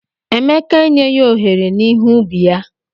Emeka e nyegi ohere n'ihe ubi ya.